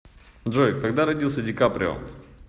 джой когда родился ди каприо